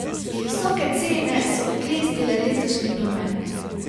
Visoke cene so oklestile letošnji promet.